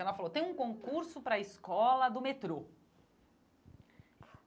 Ela falou, tem um concurso para a escola do metrô.